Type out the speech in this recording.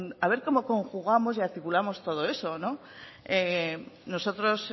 a ver como conjugamos y articulamos todo eso nosotros